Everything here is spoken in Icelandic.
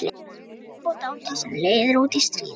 HERSKIP OG DÁTAR SEM LEIÐIR ÚT Í STRÍÐ